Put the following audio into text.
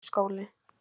Gamli skóli